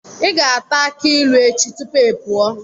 Ị ga-ata akị ilu echi tupu ị pụọ.